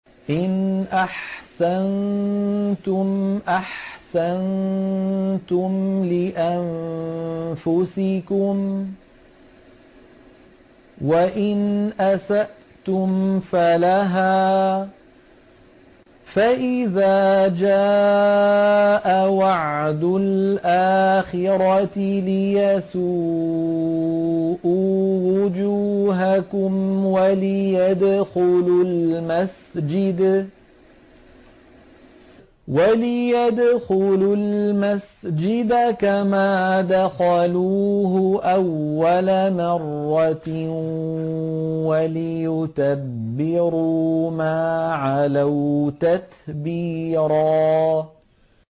إِنْ أَحْسَنتُمْ أَحْسَنتُمْ لِأَنفُسِكُمْ ۖ وَإِنْ أَسَأْتُمْ فَلَهَا ۚ فَإِذَا جَاءَ وَعْدُ الْآخِرَةِ لِيَسُوءُوا وُجُوهَكُمْ وَلِيَدْخُلُوا الْمَسْجِدَ كَمَا دَخَلُوهُ أَوَّلَ مَرَّةٍ وَلِيُتَبِّرُوا مَا عَلَوْا تَتْبِيرًا